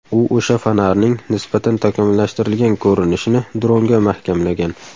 U o‘sha fonarning nisbatan takomillashtirilgan ko‘rinishini dronga mahkamlagan.